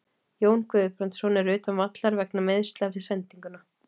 Jón Guðbrandsson er utan vallar vegna meiðsla eftir sendinguna.